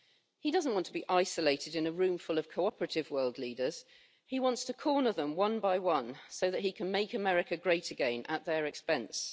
He doesn't want to be isolated in a room ful of cooperative world leaders, he wants to corner them one by one, so that he can make America great again at their expense.